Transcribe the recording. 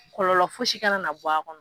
Kɔlɔlɔ foyi si kana na bɔ a kɔnɔ